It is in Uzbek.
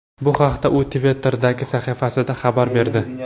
Bu haqda u Twitter’dagi sahifasida xabar berdi .